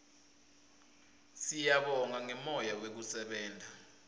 siyabonga ngemoya wekusebenta